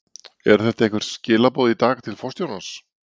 Eru þetta einhver skilaboð í dag, til forsetans?